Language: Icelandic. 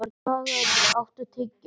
Salgerður, áttu tyggjó?